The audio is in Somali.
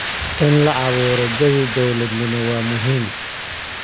In la abuuro jawi dowladnimo waa muhiim.